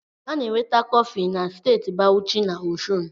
A na-enweta kọfị na Steeti Bawuchi na Ọshụn